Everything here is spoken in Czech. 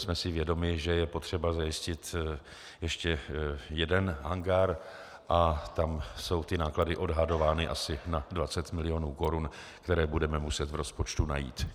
Jsme si vědomi, že je potřeba zajistit ještě jeden hangár, a tam jsou ty náklady odhadovány asi na 20 milionů korun, které budeme muset v rozpočtu najít.